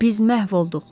Biz məhv olduq.